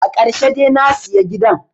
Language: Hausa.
Akarshe de nasiya gidan